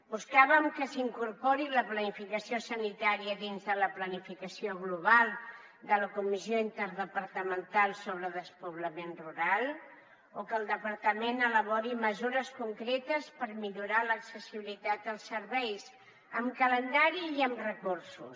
buscàvem que s’incorporés la planificació sanitària dins de la planificació global de la comissió interdepartamental sobre despoblament rural o que el departament elaborés mesures concretes per millorar l’accessibilitat als serveis amb calendari i amb recursos